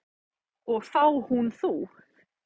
Og þá hún þú.